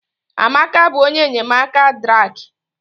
Amaka bụ onye enyemaka Drake